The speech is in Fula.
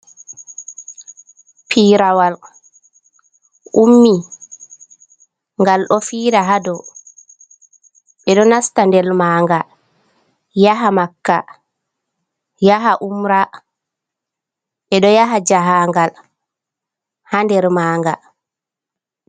Piirowal ummi ngal ɗo fiira haa doo, ɓe ɗo nasta nder maanga yaha Makka yaha umra, ɓe ɗo yaha jahangal haa nder maanga.